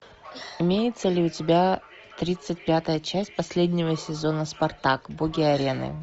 имеется ли у тебя тридцать пятая часть последнего сезона спартак боги арены